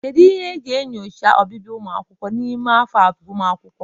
Kedu ihe e ji enyocha ọbịbịa ụmụ akwụkwọ n'ime afọ agụmakwụkwọ?